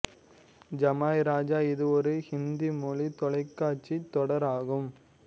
ஜமாய் ராஜா இது ஒரு ஹிந்தி மொழி தொலைக்காட்சித் தொடர் ஆகும்